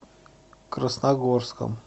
красногорском